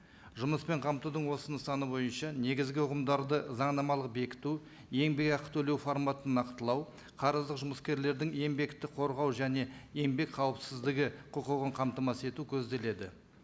жұмыспен қамтудың осының саны бойынша негізгі ұғымдарды заңнамалық бекіту еңбек ақы төлеу форматын нақтылау қарыздық жұмыскерлердің еңбекті қорғау және еңбек қауіпсіздігі құқығын қамтамасыз ету көзделеді